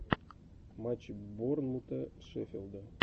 матчи борнмута шеффилда